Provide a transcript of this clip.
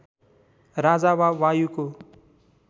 राजा वा वायुको